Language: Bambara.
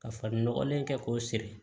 Ka farin ɲɔgɔlen kɛ k'o siri